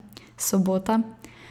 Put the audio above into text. Sobota?